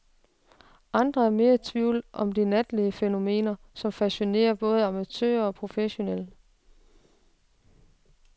Andre er mere i tvivl om de natlige fænomener, som fascinerer både amatører og professionelle.